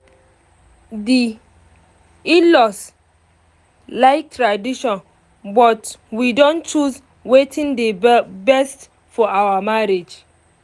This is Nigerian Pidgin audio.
di in-laws like tradition but we don choose wetin dey best for our marriage